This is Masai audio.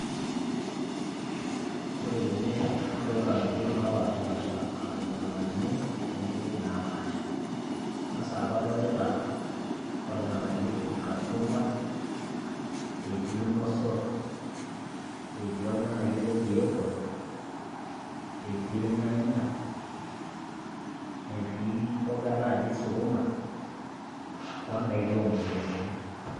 Ore tene nadolita intokitin naapaashipaasha aa ilng'anayio o nguek naapasha, eng'as aaku kadolita olng'anayoi oji cucumber etii ilmosor, etii olng'anayoi oji apple etii ilnyanya, etii imboga naaji sukuma o ndaiki oo mukebeni.